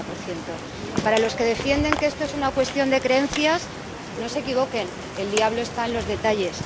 40 Para los que defienden que esto es una cuestión de creencias, no se equivoquen el diablo está en los detalles.